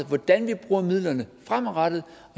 hvordan vi bruger midlerne fremadrettet